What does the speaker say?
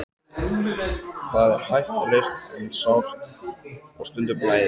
Það er hættulaust en sárt og stundum blæðir.